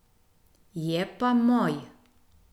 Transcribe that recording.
Je pa moj.